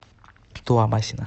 туамасина